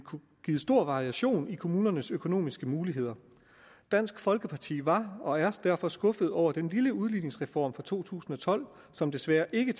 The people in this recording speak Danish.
stor variation i kommunernes økonomiske muligheder dansk folkeparti var og er derfor skuffet over den lille udligningsreform fra to tusind og tolv som desværre ikke